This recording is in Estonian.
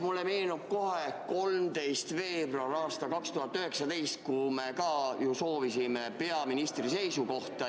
Mulle meenub kohe 13. veebruar aastal 2019, kui me ka ju soovisime peaministri seisukohta.